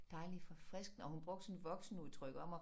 Dejlig forfriskende og hun brugte sådan et voksenudtryk om at